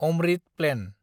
Amrit plan